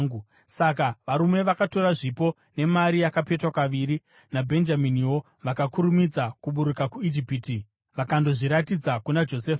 Saka varume vakatora zvipo nemari yakapetwa kaviri, naBhenjaminiwo. Vakakurumidza kuburuka kuIjipiti vakandozviratidza kuna Josefa.